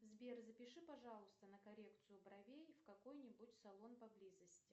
сбер запиши пожалуйста на коррекцию бровей в какой нибудь салон поблизости